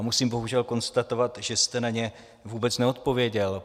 A musím bohužel konstatovat, že jste na ně vůbec neodpověděl.